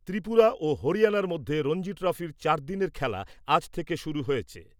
ত্রিপুরা ও হরিয়ানার মধ্যে রঞ্জি ট্রফির চারদিনের খেলা আজ থেকে শুরু হয়েছে ।